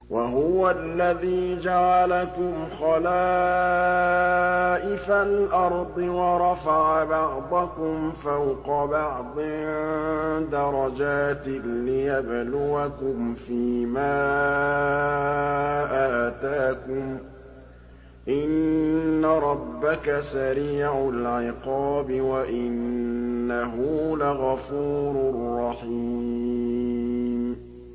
وَهُوَ الَّذِي جَعَلَكُمْ خَلَائِفَ الْأَرْضِ وَرَفَعَ بَعْضَكُمْ فَوْقَ بَعْضٍ دَرَجَاتٍ لِّيَبْلُوَكُمْ فِي مَا آتَاكُمْ ۗ إِنَّ رَبَّكَ سَرِيعُ الْعِقَابِ وَإِنَّهُ لَغَفُورٌ رَّحِيمٌ